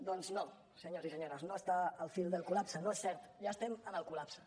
doncs no senyors i senyores no està al fil del col·lapse no és cert ja estem en el collapse